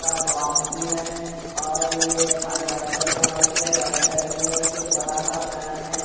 का बॉक्स भी है और ये पानी व्हाइट कलर के हैं और उसके राइट साइड में एक बड़ा सा फैन है।